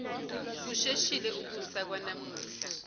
kusheshile ukusa kwanamuhla